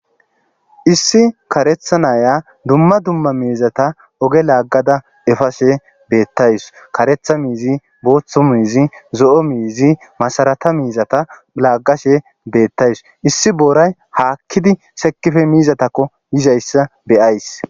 Issi karetha nayiya duma duma mizatha oge lagada efashe betawus karetha mizai botha mizi zo,o mizi masrata mizatha lagashe betawus issi borata hakidi sekidi mizatuko yizayisa be,ayis